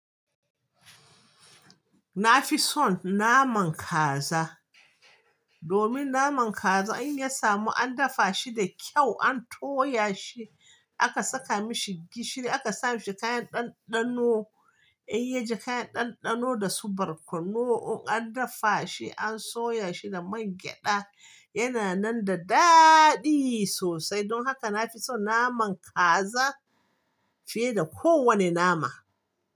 Na fi son naman kaza. Domin naman kaza in ya samu an dafa shi da kyau, an toya shi, aka saka mashi gishiri, aka sa mashi kayan ɗanɗano, in ya ji kayan ɗanɗano da su barkono, in an dafa shi, an soya shi da man gyaɗa, yana nan da daɗi sosai. Don haka na fi son naman kaza fiye da kowane nama.